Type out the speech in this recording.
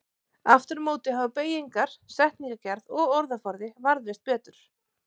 Aftur á móti hafa beygingar, setningagerð og orðaforði varðveist betur.